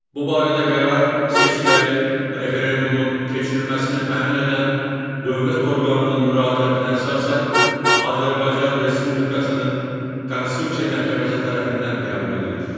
Bu barədə qərar seçkilərin, referendumun keçirilməsini təmin edən dövlət orqanının müraciətinə əsasən Azərbaycan Respublikasının Konstitusiya Məhkəməsi tərəfindən qəbul edilir.